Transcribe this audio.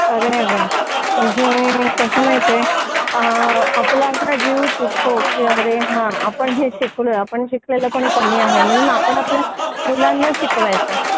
खरं आहे ग म्हणजे कसं माहिती आपला असा जीव तुटतो की अरे हा आपण हे शिकलो आपण शिकलेलो पण कमी आहेत म्हणून आपण आपल्या मुलांना शिकवतोय